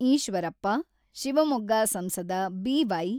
ಈಶ್ವರಪ್ಪ, ಶಿವಮೊಗ್ಗ ಸಂಸದ ಬಿ.ವೈ.